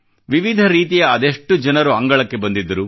ವಿವಿಧ ರೀತಿಯ ಅದೆಷ್ಟು ಜನರು ಅಂಗಳಕ್ಕೆ ಬಂದಿದ್ದರು